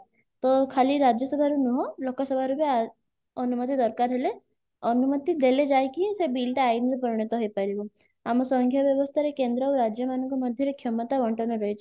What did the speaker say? ତ ଖାଲି ରାଜ୍ୟସଭାରେ ନୁହଁ ଲୋକସଭାରୁ ବି ଅନୁମତି ଦରକାର ହେଲେ ଅନୁମତି ଦେଲେ ଯାଇକି ସେ bill ଟା ଆଇନରେ ପରିଣତ ହେଇପାରିବ ଆମ ବ୍ୟବସ୍ଥାରେ କେନ୍ଦ୍ର ଆଉ ରାଜ୍ୟ ମାନଙ୍କ ମଧ୍ୟରେ କ୍ଷମତା ବଣ୍ଟନ ରହିଛି